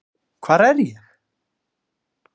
Hvar er ég?